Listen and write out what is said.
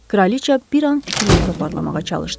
Kraliçə bir an fikrini toparlamağa çalışdı.